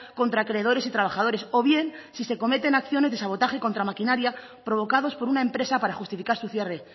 contra acreedores y trabajadores o bien si se cometen acciones de sabotaje contra maquinaria provocados por una empresa para justificar su cierre